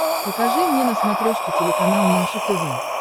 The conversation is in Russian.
покажи мне на смотрешке телеканал наше тв